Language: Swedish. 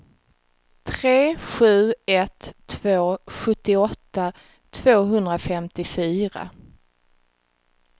tre sju ett två sjuttioåtta tvåhundrafemtiofyra